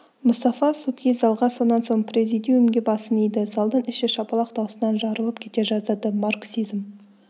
мұстафа субхи залға сонан соң президиумге басын иді залдың іші шапалақ даусынан жарылып кете жаздады марксизм